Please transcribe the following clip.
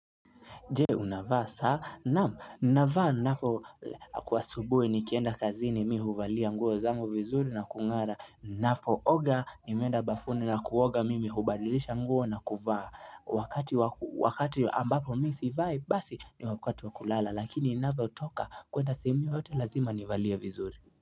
Je unavaa saa, naam, navaa napo kwa asubuhi nikienda kazini mi huvalia nguo zangu vizuri na kungara ninapooga nimeenda bafuni na kuoga mimi hubadilisha nguo na kuvaa Wakati ambapo mimi sivai basi ni wakati wa kulala lakini ninavyotoka kuenda sehemu yoyote lazima nivalie vizuri.